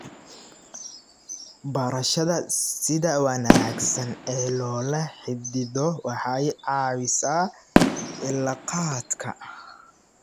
Barashada sida wanaagsan ee loola xidhiidho waxay caawisaa cilaaqaadka.